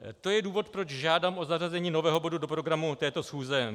To je důvod, proč žádám o zařazení nového bodu do programu této schůze.